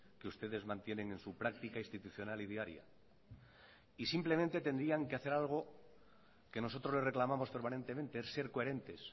que ustedes mantienen en su práctica institucional y diaria y simplemente tendrían que hacer algo que nosotros le reclamamos permanentemente es ser coherentes